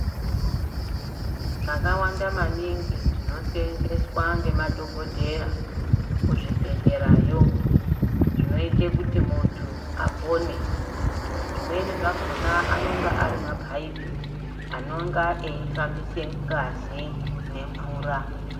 Zvakawanda maningi zvinosenzeswa ngemadhogodheya kuzvibhedhlerayo, zvinoite kuti muntu apone. Zvimweni zvakona anonga ari mapaipi anonga eifambise ngazi nemvura.